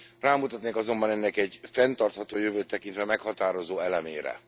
Rámutatnék azonban ennek egy, fenntartható jövőt tekintve meghatározó elemére.